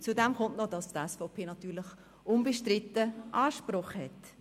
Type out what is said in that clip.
Dazu kommt noch, dass die SVP natürlich unbestritten Anspruch auf dieses Amt hat.